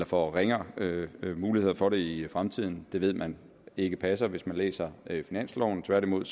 får ringere muligheder for det i fremtiden det ved man ikke passer hvis man læser finansloven tværtimod